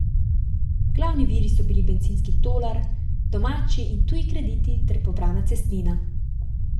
Glavni viri so bili bencinski tolar, domači in tuji krediti ter pobrana cestnina.